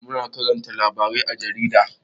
Muna karanta labarai à jarida.